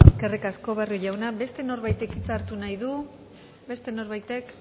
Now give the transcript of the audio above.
eskerrik asko barrio jauna beste norbaitek hitza hartu nahi du beste norbaitek